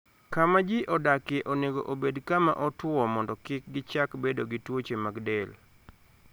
Kama ji odakie onego obed kama otwo mondo kik gichak bedo gi tuoche mag del.